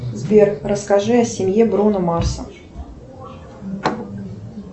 сбер расскажи о семье бруно марса